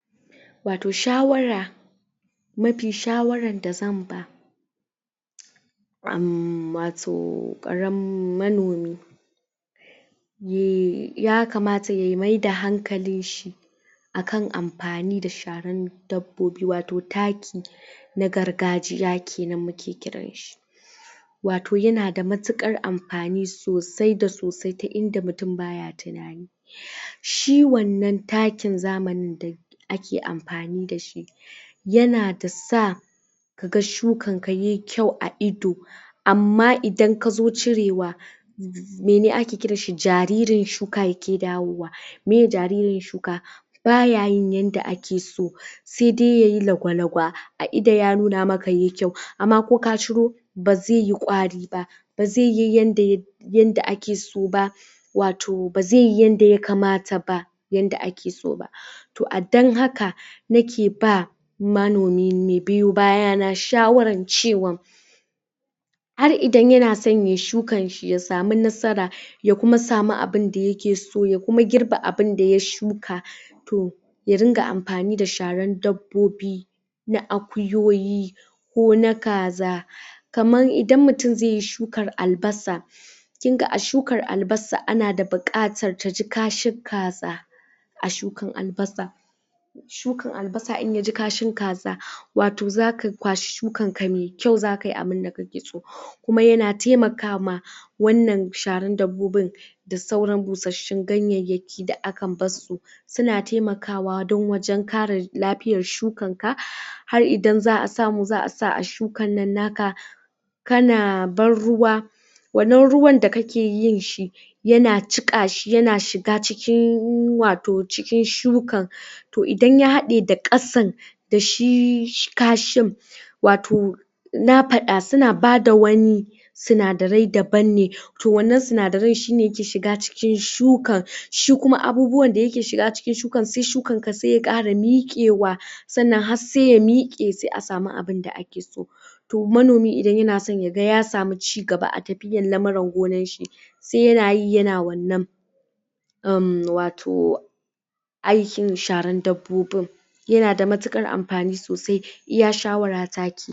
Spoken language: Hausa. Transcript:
wato shawara mafi shawaran da zan ba um wato karan manomi ya kamata ya mai da hankalin shi akan amfani da sharan dabbobi wato taki na gargajiya kenan muke kiran shi wato yana da matukar amfani sosai da sosai ta inda mutum baya tunani shi wannan takin zamanin da da ake amfani da shi yana da sa kaga shukan ka yai kyau a ido amma idan kazo cire wa mene ake kiran shi jaririn shuka yake dawowa meh jaririn shuka baya yin yanda ake so sai dai yayi lagwalagwa a ido ya nuna maka yayi kyau amma ko ka ciro ba zai yi ƙwari ba ba ze yi yanda yanda akeso ba wato bazai yi yanda yakamata ba yanda akeso ba toh a dan haka nake ba manomi mai biyo bayana shawaran cewa har idan yana so yayi shukan shi ya samu nasara ya kuma samu abun da yakeso ya kuma girba abun da ya shuka toh ya ringa amfani da sharan dabbobi na akuyoyi ko na kaza kaman idan mutun zai yi shukan albasa kinga a shukan albasa tana da bukana taji kashin kaza a shkan albasa shukan albasa in yaji kashin kaza wato zaka kwashi shukan ka mai kyau zaka samu abunda kakeso kuma yana taimaka ma wannan sharan dabbobin da sauran bushashun ganyayyakin da aka barsu suna taimakawa dan wajen karin lafiya shukan ka har idan za'a samu za'a sa a shukan nan naka kana ban ruwa wannan ruwan da kake yi shi yana jika shi yana shiga cikin wato cikin shukan toh idan ya hade da kasan da shi kashin wato na fada suna bada wani sinadarai daban ne toh wannan sinadaran shine yake shiga cikin shukan shi kuma abubuwan da yake shiga cikin shukan sai shukan ka sai ya kara mikewa sannan har sai ya mike sai a samu abun da akeso toh manomi idan ya ga yana so ya samu cigaba a tafiya na gonan shi sai yanyi yan wannan um wato aikin sharan dabbobin yana da matukar amfani sosai iya shawara ta kenan